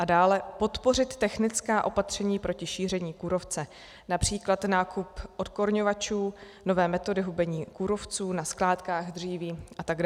a dále, podpořit technická opatření proti šíření kůrovce, například nákup odkorňovačů, nové metody hubení kůrovců na skládkách dříví atd.